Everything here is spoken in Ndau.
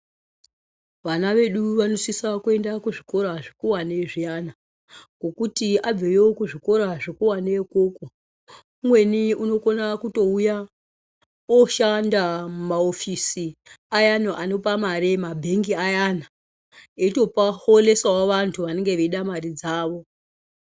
Vana vedu vanosisa kuenda kuzvikora zvikuwani zviyana, nokuti abveyo kuzvikora zvikuwane ukoko, umweni unokona kutouya oshanda mumaofosi ayana anopamari ,mabhengi ayana eyito paholesawo vantu vanenge veyida mari dzavo.